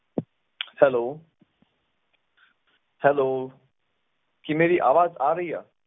Hello hello ਕੀ ਮੇਰੀ ਆਵਾਜ਼ ਆ ਰਹੀ ਆ?